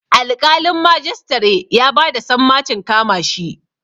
Alƙalin majistare ya ba da sammacin kama shi.